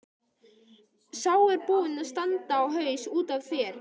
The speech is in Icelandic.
Sá er búinn að standa á haus út af þér!